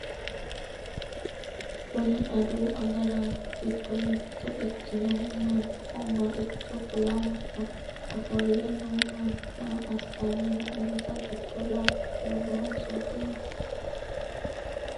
kuni adawu agaraano giddo mitto Iikkinohu mannaho maricho kulanni no? ofoolle noo manni maa assanni no? insa giddo labballu noonso dino?